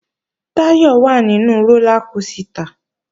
Táyọ̀ wà nínu rólá kosìtà